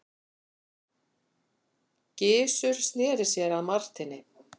Gizur sneri sér að Marteini.